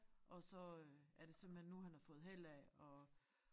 Og så øh er det simpelthen nu han har fået held af at